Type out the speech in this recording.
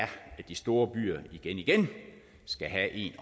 de store byer igen igen skal have en